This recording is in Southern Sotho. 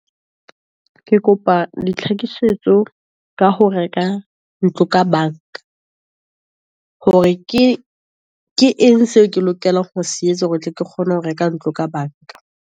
Ke kopa ditlhakisetso ka ho reka ntlo ka banka, hore ke eng seo ke lokelang ho se etsa, hore tle ke kgone ho reka ntlo ka banka.